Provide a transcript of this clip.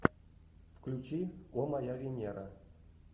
включи о моя венера